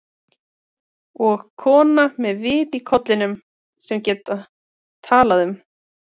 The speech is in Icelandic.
Og sem kona með vit í kollinum, sem get talað um